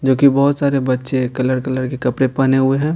जो कि बहुत सारे बच्चे कलर कलर के कपड़े पहने हुए हैं.